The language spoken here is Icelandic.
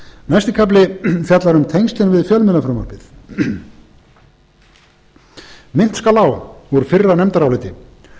næsti kafli fjallar um tengslin við fjölmiðlafrumvarpið minnt skal á úr fyrra nefndaráliti